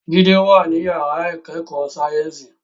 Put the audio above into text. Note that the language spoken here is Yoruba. Jide wà ní yàrá ìkẹ́kọ̀ọ́ sáyẹ́ǹsì